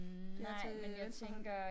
Der til venstre